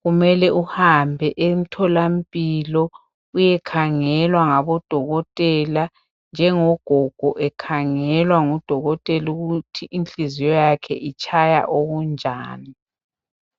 kumele uhambe emtholampilo uyekhangelwa ngabodokotela njengogogo ekhangelwa ngudokotela ukuthi inhliziyo yakhe itshaya okunjani.